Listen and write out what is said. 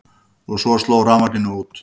Og svo sló rafmagninu út.